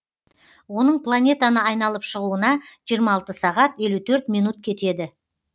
оның планетаны айналып шығуына жиырма алты сағат елу төрт минут кетеді